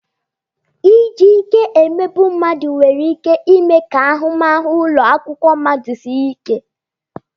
Iji ike emegbu mmadụ nwere ike ime ka ahụmahụ ụlọ akwụkwọ mmadụ sie ike.